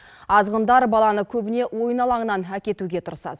азғындар баланы көбіне ойын алаңынан әкетуге тырысады